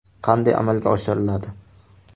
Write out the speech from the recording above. Qanday amalga oshiriladi?